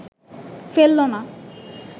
ফেলল না